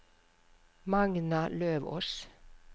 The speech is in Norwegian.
Magna Løvås